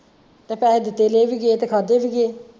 ਤੇ ਪੈਸੇ ਦਿੱਤੇ ਲਏ ਵੀ ਗਏ ਤੇ ਖਾਦੇ ਵੀ ਗਏ।